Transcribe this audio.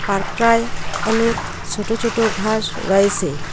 পার্কটায় অনেক সোটো ছোট ঘাস রয়েছে।